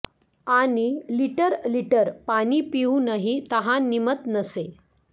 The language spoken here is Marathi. आणि लिटर लिटर पाणी पिऊनही तहान निमत नसे